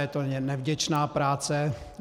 Je to nevděčná práce.